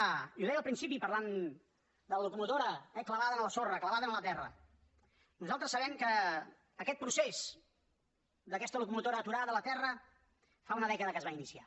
i ho deia al principi parlant de la locomotora clavada en la sorra clavada en la terra nosaltres sabem que aquest procés d’aquesta locomotora aturada a la terra fa una dècada que es va inicia